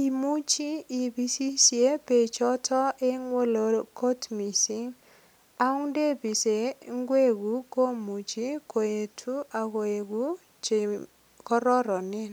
Imuchi ipisisie beechoto eng oleloo agot mising. Agot ndepisen ingwekuk komuche koetu ak koegu che kororonen.